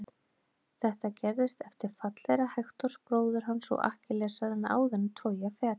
Þetta gerðist eftir fall þeirra Hektors bróður hans og Akkillesar en áður en Trója féll.